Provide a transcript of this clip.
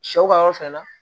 Sɛw ka yɔrɔ fɛnɛ la